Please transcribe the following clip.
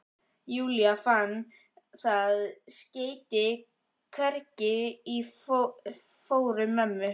Júlía, fann það skeyti hvergi í fórum mömmu.